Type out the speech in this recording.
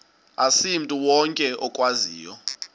asimntu wonke okwaziyo